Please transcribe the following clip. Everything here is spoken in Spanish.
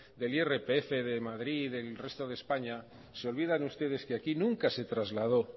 del irpf de madrid del resto de españa se olvidan ustedes que aquí nunca se trasladó